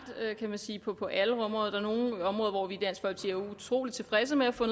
kan man sige på på alle områder der er nogle områder hvor vi i utrolig tilfredse med at få